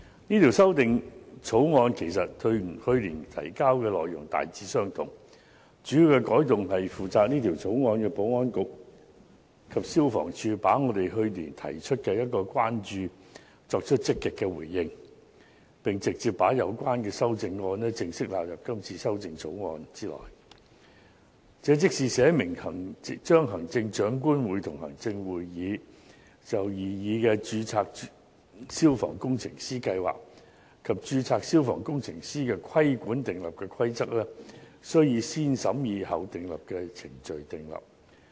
這項《條例草案》其實與去年提交的內容大致相同，主要的改動是負責這項《條例草案》的保安局及消防處積極回應我們去年提出的關注，並直接把有關的修正案正式納入《條例草案》內，即是訂立明文，規定行政長官會同行政會議就擬議的註冊消防工程師計劃及註冊消防工程師的規管所訂立的規例，需以"先審議後訂立"的程序訂立。